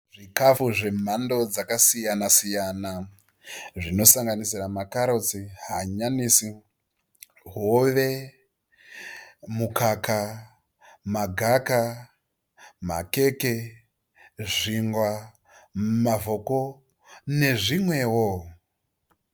Zvikafu zvemhando dzakasiyana -siyana. Zvinosanganisira makarotsi, hanyanisi, hove, mukaka, magaka, makeke, zvingwa, mavhoko nezvimwewo.